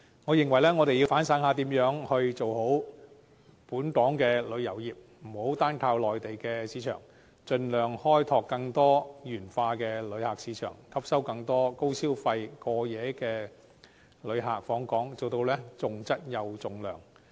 我認為，我們要反省一下如何改善本港旅遊業，不要單靠內地市場，應該盡量開拓更多元化的旅客市場，吸引更多高消費過夜旅客訪港，以期重質又重量。